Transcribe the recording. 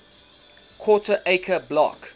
quarter acre block